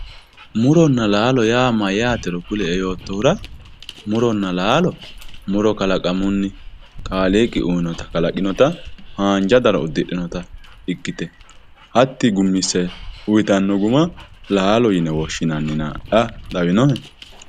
muronna laalo mayyaatero kulie yoottohura muronna laalo muro kalaqamunni kaaliiqi uyiinota kalaqinoya haanja daro uddidhinota ikkite hatti gummisse uyiitanno guma laalo yine woshshinannina adhaa lawinohe.